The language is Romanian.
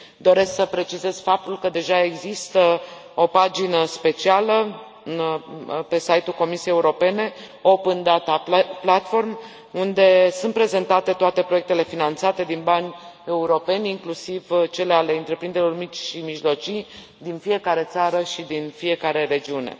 Doresc să precizez faptul că deja există o pagină specială pe site ul Comisiei Europene Open Data Platform unde sunt prezentate toate proiectele finanțate din bani europeni, inclusiv cele ale întreprinderilor mici și mijlocii din fiecare țară și din fiecare regiune.